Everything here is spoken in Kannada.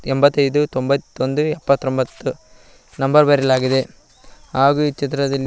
ಎಂಬತ್ತೖದು ತೊಂಬತ್ತೊಂದು ಎಪ್ಪತ್ತೊಂಬತ್ತು ನಂಬರ್ ಬರೆಯಲಾಗಿದೆ ಹಾಗೂ ಈ ಚಿತ್ರದಲ್ಲಿ--